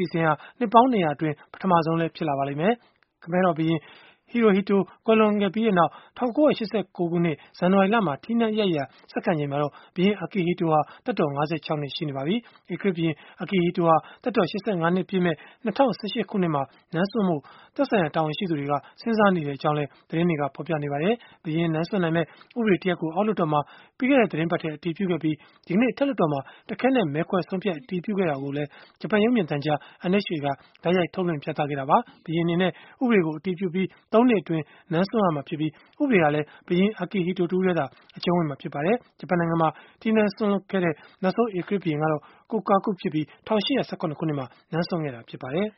ီအစဉ်ဟာ နှစ်ပေါင်း ၂၀၀ အတွင်း ပထမဆုံးလည်း ဖြစ်ပါလိမ့်မယ်။ ခမည်းတော် ဘုရင် Hirohito ကွယ်လွန်ပြီးနောက်၊ ၁၉၈၉ ခုနှစ် ဇန်နဝါရီလမှာ ထီးနန်းအရိုက်အရာ ဆက်ခံချိန်မှာ ဘုရင် Akihito ဟာ သက်တော် ၅၆ နှစ် ရှိနေပါပြီ။ ဧကရာဇ်ဘုရင် Akihito ဟာ သက်တော် ၈၅ နှစ်ပြည့်မယ့် ၂၀၁၈ ခုနှစ်မှာ နန်းစွန့်ဖို့ သက်ဆိုင်ရာ တာဝန်ရှိသူတွေ စဉ်းစားနေကြောင်းလည်း သတင်းတွေက ဖော်ပြနေကြပါတယ်။ ဘုရင်နန်းစွန့်နိုင်မယ့် ဥပဒေတရပ်ကို အောက်လွှတ်တော်မှာ ပြီးခဲ့တဲ့ သီတင်းပတ်ထဲ အတည်ပြုခဲ့ပြီး၊ ဒီကနေ့ အထက်လွှတ်တော်မှာ တခဲနက် မဲခွဲဆုံးဖြတ် အတည်ပြုခဲ့တာ ကိုလည်း ဂျပန်ရုပ်မြင်သံကြား NHK က တိုက်ရိုက်ထုတ်လွှင့် ပြသခဲ့တာပါ။ ဘုရင်အနေနဲ့ ဥပဒေကို အတည်ပြုပြီး ၃ နှစ်အတွင်းမှာ နန်းစွန့်ရမှာဖြစ်ပြီး၊ ဥပဒေဟာလည်း ဘုရင် Akihito တဦးတည်းသာ အကျုံးဝင်မှာ ဖြစ်ပါတယ်။ ဂျပန်နိုင်ငံမှာ ထီးနန်းစွန့်လွှတ်ခဲ့တဲ့ နောက်ဆုံး ဧကရာဇ်ဘုရင်ကတော့ Kokaku ဖြစ်ပြီး၊ ၁၈၁၇ ခုနှစ်မှာ နန်းစွန့်ခဲ့တာ ဖြစ်ပါတယ်